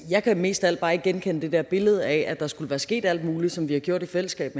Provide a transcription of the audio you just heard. jeg kan mest af alt bare ikke genkende det der billede af at der skulle være sket alt muligt som vi har gjort i fællesskab